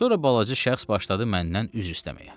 Sonra balaca şəxs başladı məndən üzr istəməyə.